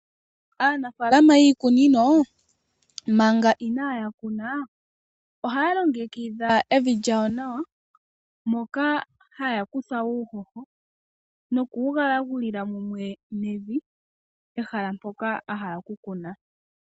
Aanafaalama yiikunino manga inaaya kuna ohaya longekidha evi lyawo nawa, moka haya kutha uuhoho nokuwugalagulila mumwe nevi pehala mpoka ahala okukuna.